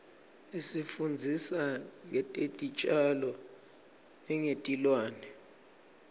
isifundzisa ngetitjalo nengetilwane